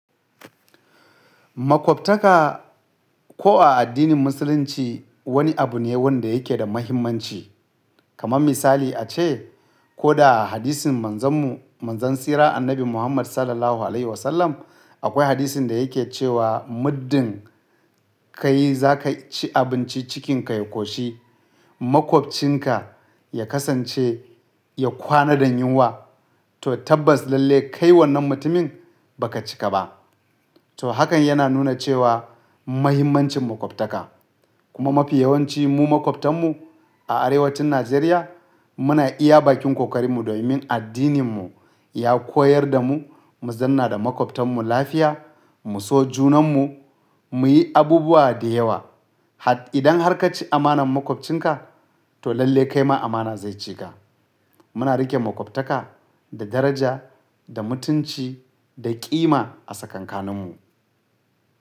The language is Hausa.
Maƙwabtaka ko a addinin Musulunci wani abu ne wanda yake da mahimmanci. Kaman misali ace ko da hadisin manzon mu manzon tsira annabi Muhammad SAW. Akwai hadisin da yake cewa muddin kai za ka ci abinci cikinka ya ƙoshi maƙwabcinka ya kasance ya kwana da yunwa to tabbas lallai kai wannan mutumin ba ka cika ba. To hakan yana nuna cewa mahimmancin maƙwabtaka kuma mafi yawanci mu maƙwabtan mu a arewacin Najeriya muna iya bakin ƙoƙarin mu domin addinin mu ya koyar da mu mu zanna da maƙwabtan mu lafiya, mu so junan mu, mu yi abubuwa da yawa. Idan har ka ci amanar maƙwabcinka to lallai kai ma amana zai cika. Muna riƙe maƙwabtaka da daraja, da mutunci, da ƙima a tsakankanin mu.